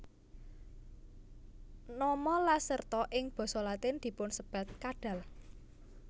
Nama Lacerta ing basa Latin dipunsebat kadal